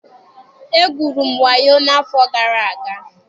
E gwuru m wayoo n'afọ gara aga.